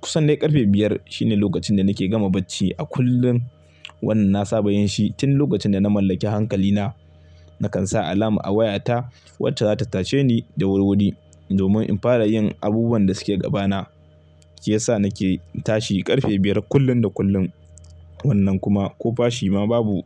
Kusan dai ƙarfe biyar shine lokacin da nake gama bacci a kullum. Wannan na saba yin shi tun lokacin da na mallaki hankalina. Nakan sa alam a wayata wacce za ta tace ni da wuri-wuri, domin in fara yin abubuwan da suke gaba na, shiyasa nake tashi ƙarfe biyar kullum da kullum. Wannan kuma ko fashi ma babu.